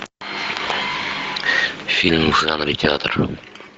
фильм в жанре театр